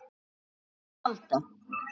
um að halda.